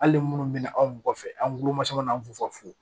Hali ni minnu bɛ na anw mɔgɔ kɔfɛ an kulo ma sɔn ka n'an fo